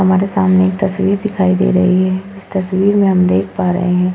हमारे सामने एक तस्वीर दिखाई दे रही है इस तस्वीर में हम देख पा रहे हैं --